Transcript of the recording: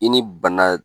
I ni bana